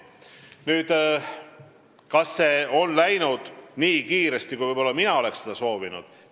Kas see on läinud nii kiiresti, kui võib-olla mina oleksin seda soovinud?